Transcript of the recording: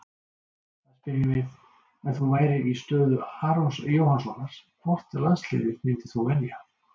Þar spyrjum við: Ef þú værir í stöðu Arons Jóhannssonar, hvort landsliðið myndir þú velja?